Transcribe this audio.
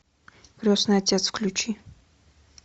крестный отец включи